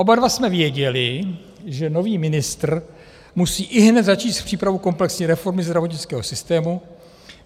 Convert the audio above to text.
Oba dva jsme věděli, že nový ministr musí ihned začít s přípravou komplexní reformy zdravotnického systému.